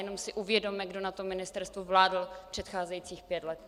Jenom si uvědomme, kdo na tom ministerstvu vládl předcházejících pět let.